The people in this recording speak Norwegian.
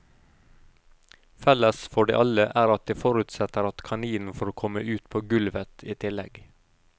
Felles for de alle er at de forutsetter at kaninen får komme ut på gulvet i tillegg.